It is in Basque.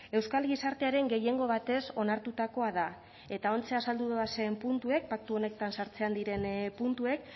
euskal gizartearen gehiengo batez onartutakoa da eta ontxe azaldu dodazen puntuek paktu honetan sartzean diren puntuek